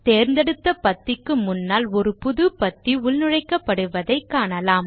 தேர்ந்தெடுத்த பத்திக்கு முன்னால் ஒரு புது பத்தி உள்நுழைக்கப்படுவதை காணலாம்